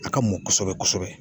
A ka mɔn kosɛbɛ kosɛbɛ .